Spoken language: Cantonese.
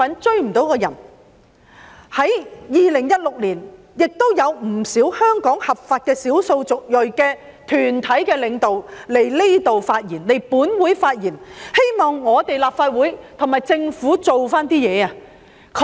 在2016年，有不少在香港合法的少數族裔團體的領導來到立法會發言，希望我們和政府做一點工夫。